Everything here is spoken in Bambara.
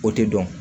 O tɛ dɔn